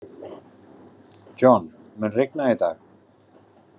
John, mun rigna í dag?